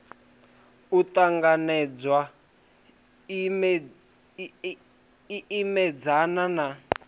u ṱanganedzana i imedzana na